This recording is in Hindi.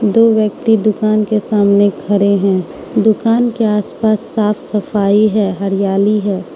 दो व्यक्ति दुकान के सामने खड़े हैं दुकान के आसपास साफ सफाई है हरियाली है।